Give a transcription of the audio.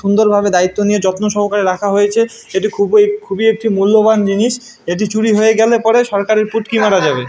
সুন্দর ভাবে দায়িত্ব নিয়ে যত্ন সহকারে রাখা হয়েছে। এ খুবই খুবই একটি মুল্যবান জিনিস এটি চুরি হয়ে গেলে পরে সরকারের পুটকি মারা যাবে।